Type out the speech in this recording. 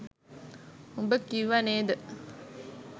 උඹ කිව්ව නේද